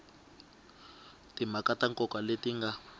timhaka ta nkoka leti nga